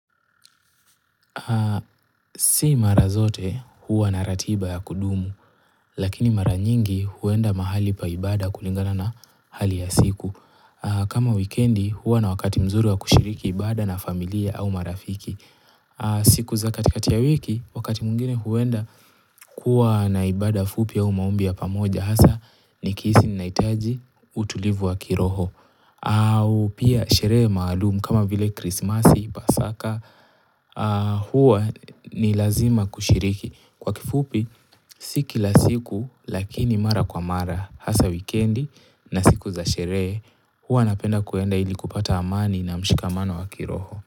Si mara zote huwa na ratiba ya kudumu, lakini mara nyingi huenda mahali paibada kulingana na hali ya siku. Kama wikendi huwa na wakati mzuri wa kushiriki ibada na familia au marafiki. Siku za katikati ya wiki, wakati mwingine huenda kuwa na ibada fupi au maombi ya pamoja. Hasa nikihisi ninahitaji utulivu wa kiroho. Au pia sherehe maalumu kama vile krismasi, pasaka huwa ni lazima kushiriki kwa kifupi si kila siku lakini mara kwa mara hasa wikendi na siku za sherehe huwa napenda kuenda ili kupata amani na mshikamano wa kiroho.